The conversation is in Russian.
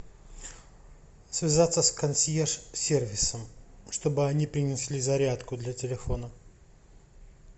связаться с консьерж сервисом чтобы они принесли зарядку для телефона